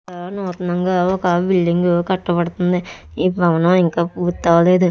ఇక్కడ నూతనంగా ఒక బిల్డింగ్ కట్టబడుతుంది. ఈ భవనం ఇంకా పూర్తి అవ్వలేదు.